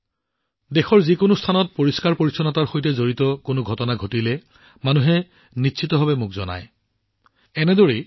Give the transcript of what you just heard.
যদি দেশৰ যিকোনো ঠাইতে পৰিষ্কাৰ পৰিচ্ছন্নতাৰ সৈতে সম্পৰ্কিত কিবা ঘটে তেন্তে মানুহে নিশ্চিতভাৱে মোক এই বিষয়ে অৱগত কৰে